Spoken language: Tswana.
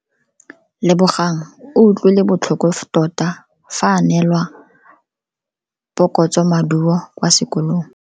Lebogang o utlwile botlhoko tota fa a neelwa phokotsomaduo kwa sekolong.